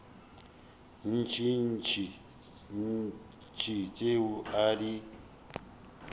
tše ntši tšeo a di